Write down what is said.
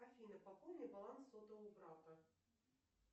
афина пополни баланс сотового брата